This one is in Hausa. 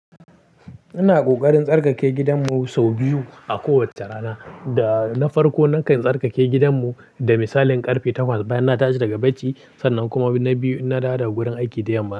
Ina ƙoƙarin tsarkake gidanmu sau biyu a kowace rana. Da na farko, nakan tsarkake gidanmu da misalin ƙarfe takwas bayan na dace daga bacci, sannan kuma na biyu inna dawo daga gurin aiki da yammaci.